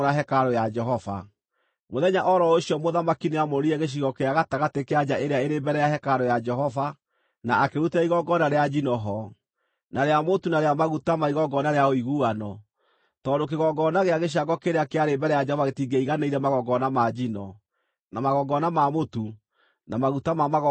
Mũthenya o ro ũcio mũthamaki nĩamũrire gĩcigo gĩa gatagatĩ kĩa nja ĩrĩa ĩrĩ mbere ya hekarũ ya Jehova, na akĩrutĩra igongona rĩa njino ho, na rĩa mũtu na rĩa maguta ma igongona rĩa ũiguano, tondũ kĩgongona gĩa gĩcango kĩrĩa kĩarĩ mbere ya Jehova gĩtingĩaiganĩire magongona ma njino, na magongona ma mũtu na maguta ma magongona ma ũiguano.